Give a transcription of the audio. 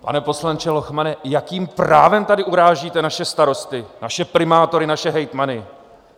Pane poslanče Lochmane, jakým právem tady urážíte naše starosty, naše primátory, naše hejtmany?